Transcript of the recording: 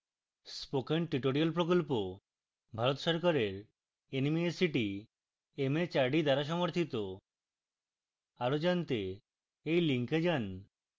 spoken tutorial প্রকল্প ভারত সরকারের nmeict mhrd দ্বারা সমর্থিত